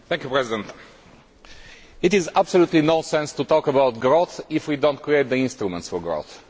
Mr President, it makes absolutely no sense to talk about growth if we do not create the instruments for growth.